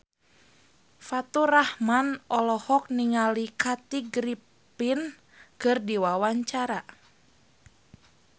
Faturrahman olohok ningali Kathy Griffin keur diwawancara